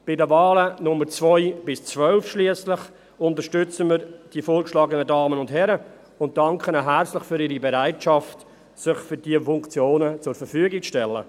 Bei den Wahlen Nummer 2 bis 12 schliesslich unterstützen wir die vorgeschlagenen Damen und Herrn und danken ihnen herzlich für ihre Bereitschaft, sich für diese Funktionen zur Verfügung zu stellen.